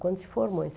Quando se formou.